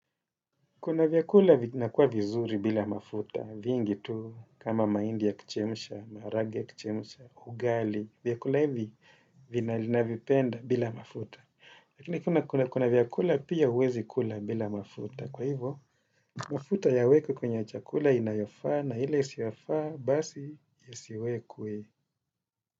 Kuna vyakula vinakuwa vizuri bila mafuta, vingi tu kama mahindi ya kuchemsha, maharage ya kuchemsha, ugali, vyakula hivi navipenda bila mafuta. Lakini kuna vyakula pia huwezi kula bila mafuta. Kwa hivyo, mafuta yawekwe kwenye chakula inayofaa na ile isiyofaa basi yasiwekwe.